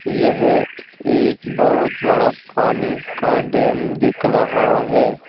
यह एक बहुत बड़ा पानी का डैम दिख रहा है।